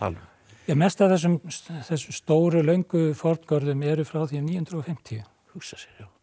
um mest af þessum þessum stóru löngu forngörðum eru frá því um níu hundruð og fimmtíu hugsa sér